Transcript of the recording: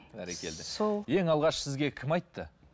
ең алғаш сізге кім айтты